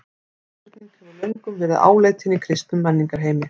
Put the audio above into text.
Þessi spurning hefur löngum verið áleitin í kristnum menningarheimi.